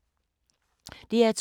DR2